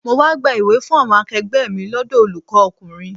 Mo wá gba ìwé fún àwọn akegbe mi lọ́dọ̀ olùkọ́ ọkùnrin.